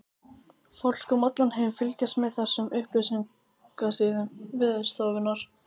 Fólk um allan heim fylgist með þessum upplýsingasíðum Veðurstofunnar.